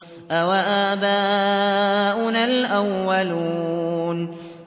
أَوَآبَاؤُنَا الْأَوَّلُونَ